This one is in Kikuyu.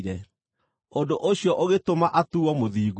Ũndũ ũcio ũgĩtũma atuuo mũthingu.